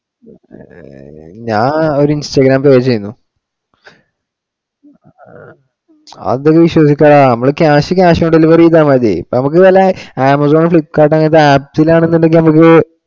ഞാൻ ഒരു instagram pay ചെയ്യുന്നു. അത് വിശ്വസിക്കാം. നമ്മള് cash ~ cash on delivery ചെയ്താ മതി. നമുക്ക് നല്ലെ Amazon, Flipkart അങ്ങനത്തെ actual ആണെന്നുണ്ടെങ്കിൽ നമുക്ക്